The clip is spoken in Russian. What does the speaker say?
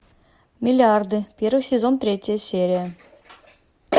миллиарды первый сезон третья серия